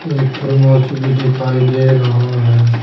एक थर्मस भी दिखाई दे रहा है।